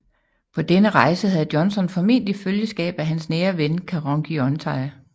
På denne rejse havde Johnson formentlig følgeskab af hans nære ven Karonghyontye